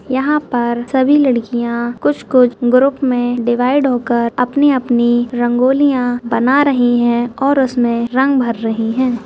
यहाँ पर सभी लड़कियाँ कुछ-कुछ ग्रुप में डिवाइड होकर अपनी-अपनी रंगोलियाँ बना रही हैं और उसमें रंग भर रहीं हैं।